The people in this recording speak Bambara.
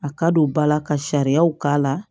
A ka don ba la ka sariyaw k'a la